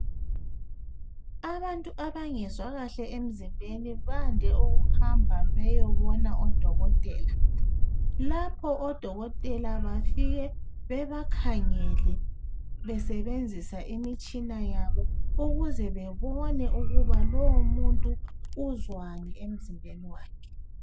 abantu abangezwakahle emzimbeni bande ukuhamba beyobona odokotela lapho odokotela bafike bebakhangele besebenzisa imitshina yabo ukuze bebone ukuba lowo muntu uzwani emzimbeni wakhe